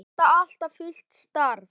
Er þetta fullt starf?